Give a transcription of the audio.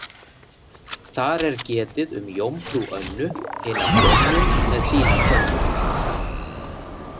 Þar er getið um jómfrú Önnu hina grönnu með sína könnu.